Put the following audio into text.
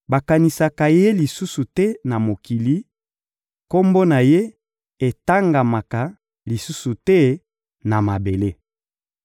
Bakanisaka ye lisusu te na mokili, kombo na ye etangamaka lisusu te na mabele.